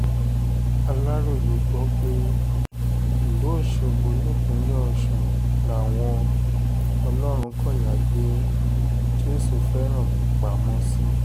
aláròye gbọ́ pé ìlú ọ̀ṣọ́gbó nípínlẹ̀ ọ̀sùn làwọn ọlọ́runkọ̀yà gbé jésùfẹ́ránmi pamọ́ sí